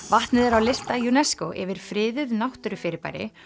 vatnið er á lista UNESCO yfir friðuð náttúrufyrirbæri